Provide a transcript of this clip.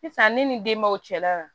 Sisan ne ni denbaw cɛla la